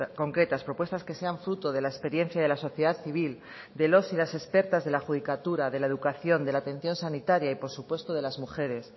concretas propuestas que sean fruto de la experiencia de la sociedad civil de los y las expertas de la judicatura de la educación de la atención sanitaria y por supuesto de las mujeres